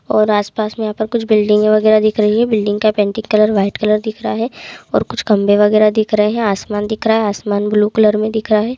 और आस पास में यहां पर कुछ बिल्डिंग वगैरा दिख रही है। बिल्डिंग का पेंटिंग कलर वाइट कलर दिख रहा है। और कुछ खम्भे वैराग दिख रहा है। और आसमान दिख रहा है आसमान ब्लू कलर में दिख रहा है।